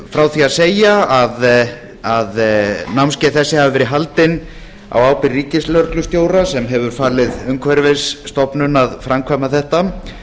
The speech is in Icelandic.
frá því að segja að námskeið þessi hafa verið haldin á ábyrgð ríkislögreglustjóra sem hefur falið umhverfisstofnun að framkvæma þetta